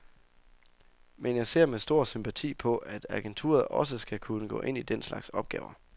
Men jeg ser med stor sympati på, at agenturet også skal kunne gå ind i den slags opgaver.